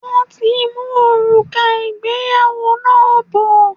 Wọ́n ti ń mú òrùka ìgbéyàwó náà bọ̀.